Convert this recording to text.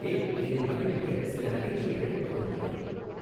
ஏய் என்னை மகிழ்விக்க சில நகைச்சுவைகளை பகிர்ந்துகொள்